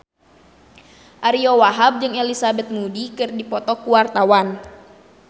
Ariyo Wahab jeung Elizabeth Moody keur dipoto ku wartawan